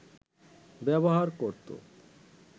ব্যবহার করতো